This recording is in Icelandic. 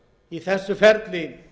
í þessu ferli